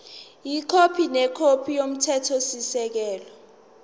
ikhophi nekhophi yomthethosisekelo